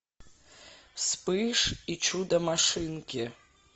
вспыш и чудо машинки